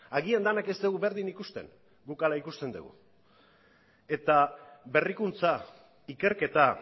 agian denak ez dugu berdin ikusten guk hala ikusten dugu eta berrikuntza ikerketa